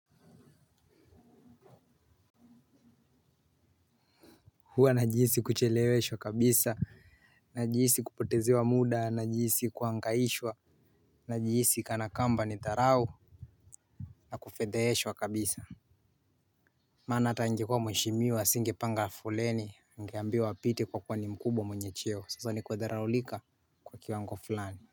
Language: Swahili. Hua najihisi kucheleweshwa kabisa, najihisi kupotezewa muda, najihisi kuhangaishwa. Najihisi kana kwamba ni dharau, na kufedheheshwa kabisa. Maana hata angekuwa mheshimiwa singepanga foleni, angeambiwa apite kwa kuwa ni mkubwa mwenye cheo. Sasa ni kudharaulika kwa kiwango fulani.